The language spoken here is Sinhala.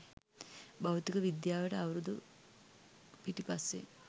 භෞතික විද්‍යාවට අවුරුදු පිටිපස්සෙන්